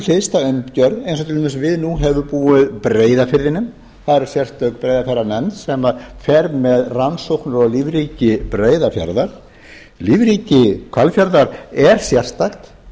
hliðstæð umgjörð eins og til dæmis við nú höfum búið breiðafirðinum þar er sérstök breiðafjarðarnefnd sem fer með rannsóknir á lífríki breiðafjarðar lífríki hvalfjarðar er sérstakt